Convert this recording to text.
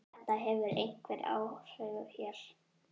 Þetta hefur einhver áhrif hér.